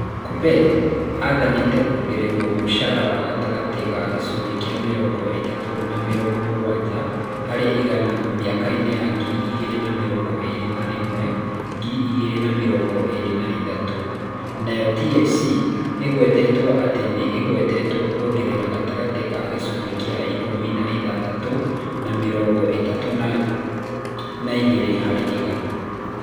Kuppet aathanĩte kũongererwo mũcara wa gatagatĩ ga gĩcunjĩ kĩa mĩrongo ĩtat ũ na mĩrongo m ũgwaja harĩ igana mĩakainĩ ya ngiri igĩrĩ na mĩrongo ĩrĩ na ĩmwe-ngiri igĩrĩ na mĩrongo ĩrĩ na ithathatũ, nayo TSC ĩgwetetwo atĩ nĩ ĩgwetetwo kũongererwo gatagatĩ ka gĩcunjĩ kĩa ik ũmi na ithathat ũ na mĩrongo ĩtat ũ na igĩrĩ harĩ igana.